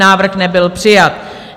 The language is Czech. Návrh nebyl přijat.